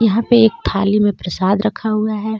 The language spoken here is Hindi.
यहाँ पे एक थाली मे प्रसाद रखा हुआ हे.